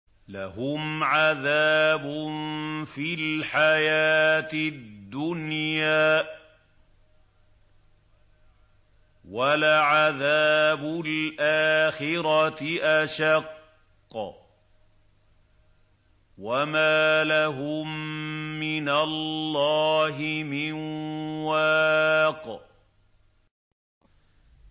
لَّهُمْ عَذَابٌ فِي الْحَيَاةِ الدُّنْيَا ۖ وَلَعَذَابُ الْآخِرَةِ أَشَقُّ ۖ وَمَا لَهُم مِّنَ اللَّهِ مِن وَاقٍ